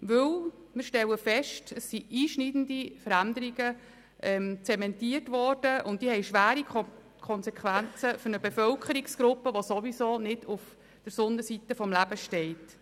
Wir stellen fest, dass einschneidende Veränderungen zementiert worden sind, die schwerwiegende Konsequenzen für eine Bevölkerungsgruppe haben, die ohnehin nicht auf der Sonnenseite des Lebens steht.